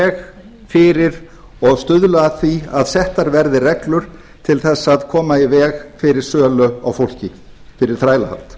veg fyrir og stuðla að því að settar verði reglur til þess að koma í veg fyrir sölu á fólki fyrir þrælahald